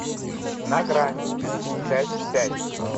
на грани часть пять